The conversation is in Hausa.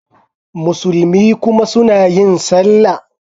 Musulmi kuma suna yin Sallah.